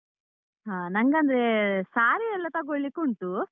ಹಾ, ನಂಗಂದ್ರೆ saree ಯೆಲ್ಲ ತಗೋಳಿಕುಂಟು.